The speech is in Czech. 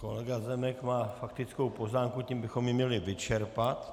Kolega Zemek má faktickou poznámku, tím bychom ji měli vyčerpat.